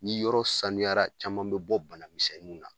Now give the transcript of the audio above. Ni yɔrɔ saniyara, caman bɛ bɔ bana misɛnninw na.